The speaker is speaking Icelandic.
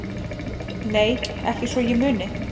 Nei ekki svo ég muni